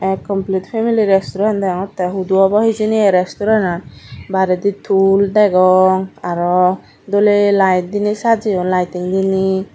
t complete family restaurant degongotte hudu obo hijeni a restaurant an baredi tool degong aro doley light diney sajeyun lighting diney.